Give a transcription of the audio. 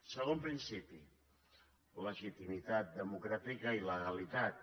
segon principi legitimitat democràtica i legalitat